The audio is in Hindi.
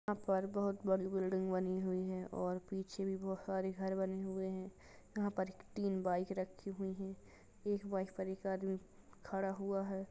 यहाँ पर बहुत बड़ी बिल्डिंग बनी हुई है और पीछे ही बहुत सारे घर बने हुए है जहाँ पर तीन बाइक रखीं हुईं हैं एक बाइक पर एक आदमी खड़ा हुआ है।